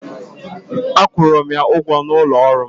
A kwụrụ m ya ụgwọ n'ụlọ ọrụ m.